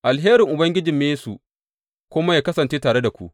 Alherin Ubangijinmu Yesu kuma yă kasance tare da ku.